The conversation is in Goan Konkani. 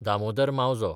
दामोदर मावजो